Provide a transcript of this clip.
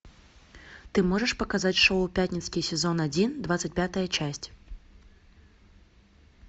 ты можешь показать шоу пятницкий сезон один двадцать пятая часть